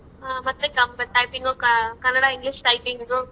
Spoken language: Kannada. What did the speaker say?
ಆ ಮತ್ತೆ ಕ typing ಕನ್ನಡ English typing ದು.